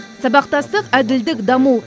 сабақтастық әділдік даму